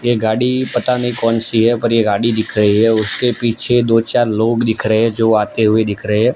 ये गाड़ी पता नहीं कौन सी है पर ये गाड़ी दिख रही है उसके पीछे दो चार लोग दिख रहे हैं जो आते हुए दिख रहे हैं।